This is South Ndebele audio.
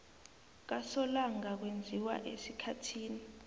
kasolanga kwenziwa esikhathini